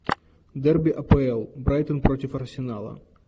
дерби апл брайтон против арсенала